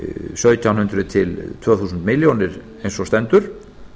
sautján hundruð til tvö þúsund milljónir eins og stendur